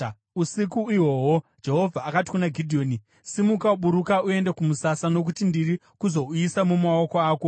Usiku ihwohwo, Jehovha akati kuna Gidheoni, “Simuka, buruka uende kumusasa, nokuti ndiri kuzouisa mumaoko ako.